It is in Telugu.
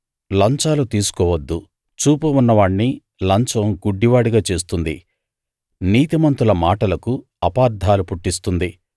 లంచాలు తీసుకోవద్దు చూపు ఉన్నవాణ్ణి లంచం గుడ్డివాడిగా చేస్తుంది నీతిమంతుల మాటలకు అపార్థాలు పుట్టిస్తుంది